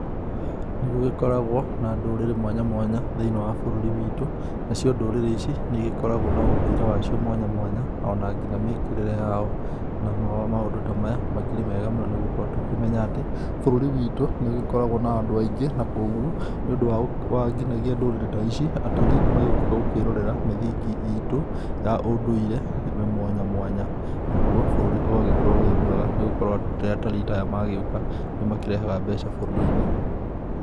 Nĩ gũgĩkoragwo na ndũrĩrĩ mwanya mwanya, thĩinĩ wa bũrũri witũ. Nacio ndũrĩrĩ ici nĩ igĩkoragwo na ũndũire wao mwanya mwanya ona nginya mĩkĩrĩre yao, na maũndũ ta maya makĩrĩ mega mũno nĩgũkorwo tũkĩmenya atĩ, bũrũri witũ nĩ ũgĩkoragwo na andũ aingĩ na koguo nĩ ũndũ wa nginyagia ndũrĩrĩ ta ici atarii nĩmagĩũkaga gũkĩrorera mĩthingi itu ya ũndũire mwanya mwanya. Naguo, bũrũri ugagĩkorwo wĩ mwega, nĩ gukorwo rĩrĩa atarii ta aya magĩũka nĩmakĩrehaga mbeca bũrũri-inĩ.